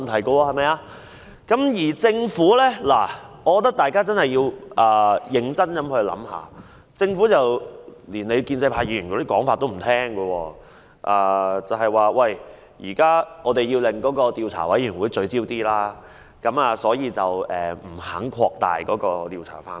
我認為大家確實要認真想一想，因為政府現時連建制派議員的建議也不接受，只是指出應讓調查委員會的工作更加聚焦，不願擴大調查範圍。